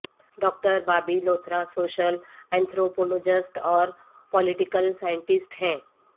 doctor Bobby Luthra social anthropologist اور political scientist ہیں